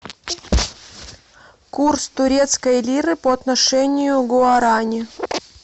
курс турецкой лиры по отношению к гуарани